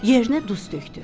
Yerinə duz tökdü.